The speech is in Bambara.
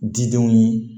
Didenw ye